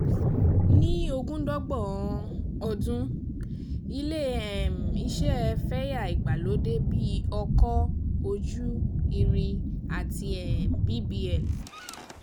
Ní nineteen th um century, ilé um iṣẹ́ fẹ̀yà ìgbàlódé bí ọkọ̀-ojú-irin àti um bbl.